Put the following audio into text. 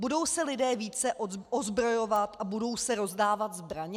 Budou se lidé více ozbrojovat a budou se rozdávat zbraně?